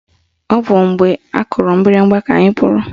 Ọ bụ mgbe akụrụ mgbịrịgba ka anyị pụrụ